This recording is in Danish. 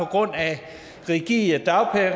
grund af rigide